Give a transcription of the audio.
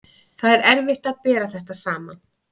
Það er erfitt að bera þetta saman.